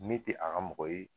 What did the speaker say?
Ne te a ga mɔgɔ ye